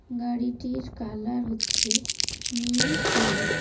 গাড়িটির কালার হচ্ছে নীল কালো।